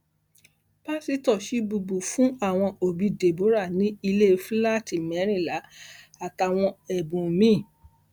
pásítọ chibubur fún àwọn òbí deborah ní ilé fúláàtì mẹrìnlá àtàwọn ẹbùn mi